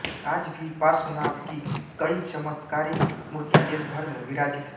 आज भी पार्श्वनाथ की कई चमत्कारिक मूर्तियाँ देश भर में विराजित है